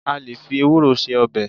À lè fí Ewúro ṣe ọbẹ̀.